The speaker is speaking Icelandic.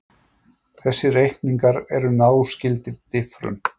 Þessir reikningar eru náskyldir diffrun.